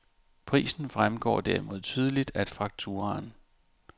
Prisen fremgår derimod tydeligt af fakturaen.